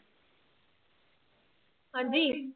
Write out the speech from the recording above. ਹਾਂਜੀ